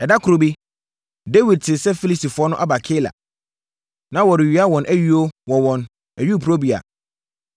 Ɛda koro bi, Dawid tee sɛ Filistifoɔ no aba Keila, na wɔrewia wɔn ayuo wɔ wɔn ayuporobea.